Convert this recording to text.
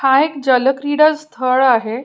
हा एक जल क्रीडा स्थळ आहे.